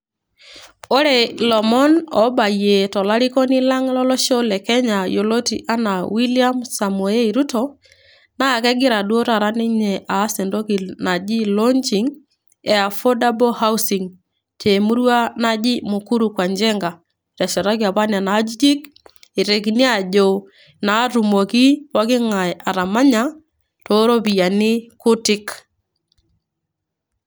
Ore ilomon obaiyie tolarikoni lang' lolosho le kenya yioloti enaa William Samoei Ruto, naa kegira duo taata ninye aas entoki naji launching e affordable housing te murua naji Mukuru kwa Njenga. Eteshetaki apa nena ajijik itekini ajo naa atumoki poking'ai atamanya too ropiani kutik.